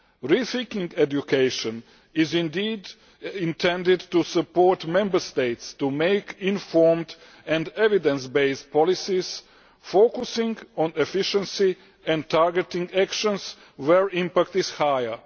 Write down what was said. Rethinking Education is intended to help Member States to make informed and evidence based policies, focusing on efficiency and targeting actions where impact is higher.